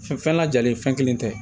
Fɛn fɛn lajalen fɛn kelen tɛ